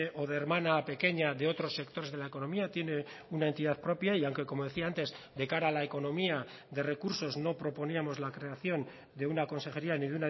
o de hermana pequeña de otros sectores de la economía tiene una entidad propia y aunque como decía antes de cara a la economía de recursos no proponíamos la creación de una consejería ni